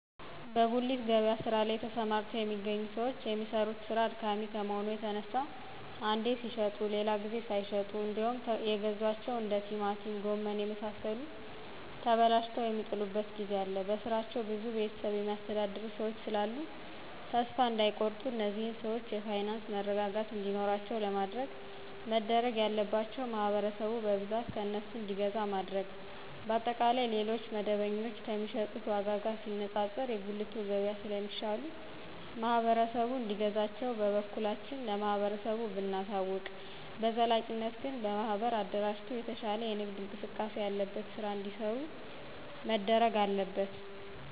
በጉሊት ገበያ ስራ ላይ ተሰማርተው የሚገኙ ሰዎች የሚሰሩት ስራ አድካሚ ከመሆኑ የተነሳ አንዴ ሲሽጡ ሌላ ጊዜ ሳይሸጡ እንዴውም የገዟቸው እንደ ቲማቲም ጎመን የመሳሰሉት ተበላሽተው የሚጥሉበት ጊዜ አለ በስራቸው ብዙ ቤተሰብ የሚያስተዳድሩ ሰዎች ስላሉ ተሰፋ እዳይቆርጡ እነዚህን ሰዎች የፋይናንስ መረጋጋት እንዲኖራቸው ለማድረግ መደረግ ያለባቸው ማህበረሰቡ በብዛት ከእነሱ እንዲገዛ ማድረግ። በአጠቃላይ ሌሎች መደበኞ ከሚሸጡት ዎጋ ጋር ሲነጣጠር የጉልቱ ገብያ ስለ ሚሻሉ ማህበረሰቡ እንዲገዛቸው በበኩላችን ለማህበረሰቡ ብናሳውቅ።። በዘላቂነት ግን በማህበር አደራጅቶ የተሻለ የንግድ እንቅስቃሴ ያለበት ስራ እዲሰሩ መደረግ አለበት